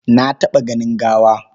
Na taɓa ganin gawa.